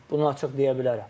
Bunu açıq deyə bilərəm.